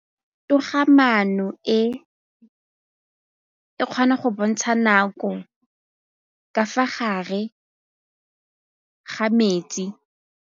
Toga-maanô e, e kgona go bontsha nakô ka fa gare ga metsi.